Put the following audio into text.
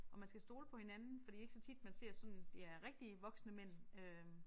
Hvor man skal stole på hinanden for det ikke så tit man ser sådan det er rigtige voksne mænd øh